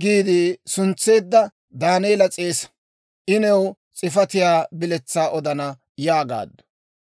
giide suntseedda Daaneela s'eesa. I new s'ifatiyaa biletsaa odana» yaagaaddu.